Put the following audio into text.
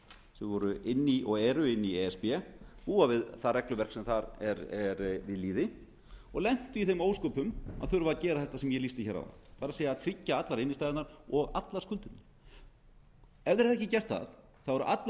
sem voru og eru í e s b búa við það regluverk sem þar er við lýði og lentu í þeim ósköpum að þurfa að gera þetta sem ég lýsti áðan sem sé að tryggja allar innstæðurnar og allar skuldirnar ef þeir hefðu ekki gert það eru allar líkur